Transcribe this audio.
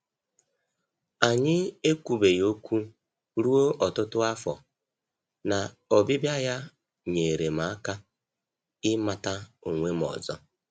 Anyị ekwubeghị okwu ruo ọtụtụ afọ, na ọbịbịa ya nyeere m aka ịmata onwe m ọzọ.